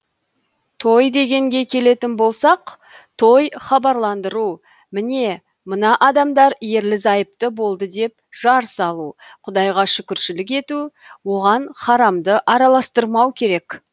той дегенге келетін болсақ той хабарландыру міне мына адамдар ерлі зайыпты болды деп жар салу құдайға шүкіршілік ету оған харамды араластырмау керек